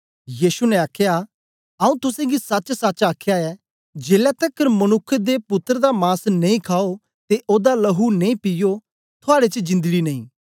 यीशु ने आख्या आऊँ तुसेंगी सचसच आखया ऐ जेलै तकर मनुक्ख दे पुत्तर दा मांस नेई खाओ ते ओदा लहू नेई पीयो थुआड़े च जिन्दडी नेई